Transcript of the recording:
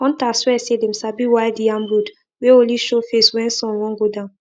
hunters swear say dem sabi wild yam road wey only show face when sun wan go down